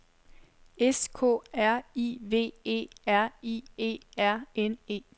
S K R I V E R I E R N E